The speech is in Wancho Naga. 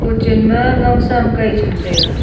chen ma long sam kai chang taiga.